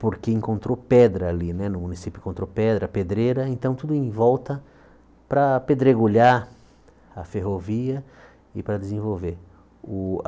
porque encontrou pedra ali né, no município encontrou pedra, pedreira, então tudo em volta para pedregulhar a ferrovia e para desenvolver o a.